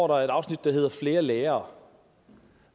der et afsnit der hedder flere lærere